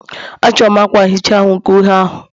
A chọrọ m akwa nhicha ahu nke uhie ahụ